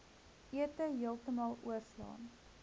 ete heeltemal oorslaan